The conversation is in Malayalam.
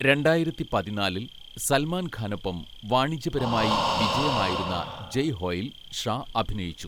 രണ്ടായിരത്തി പതിനാലിൽ സൽമാൻ ഖാനൊപ്പം വാണിജ്യപരമായി വിജയമായിരുന്ന 'ജയ് ഹോയിൽ' ഷാ അഭിനയിച്ചു.